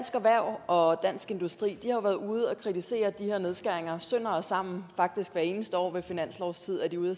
erhverv og dansk industri ude at kritisere de her nedskæringer sønder og sammen faktisk hvert eneste år ved finanslovstid er de ude